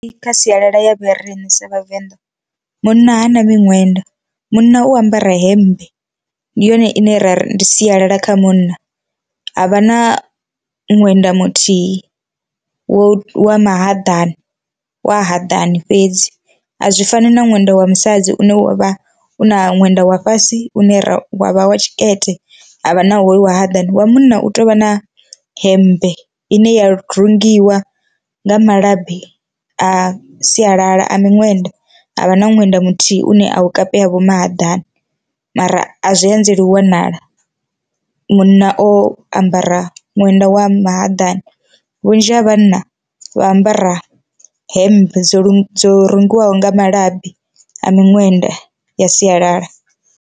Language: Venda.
Ndi kha sialala ya vho rine sa vhavenḓa munna ha na miṅwenda munna u ambara hemmbe ndi yone ine ra ri ndi sialala kha munna, havha na ṅwenda muthihi wo wa ma haḓani wa haḓani fhedzi a zwi fani na ṅwenda wa musadzi une wa vha u na ṅwenda wa fhasi u ne wa vha wa tshikete havha na hoyu wa haḓani, wa munna u tea u vha na hemmbe ine ya rungiwa nga malabi a sialala a miṅwenda havha na ṅwenda muthihi une a u kapeya vho mahaḓani mara a zwi anzeli u wanala, munna o ambara ṅwenda wa mahaḓani. Vhunzhi ha vhanna vha ambara hemmbe dzo dzo rungiwaho nga malabi a miṅwenda ya sialala.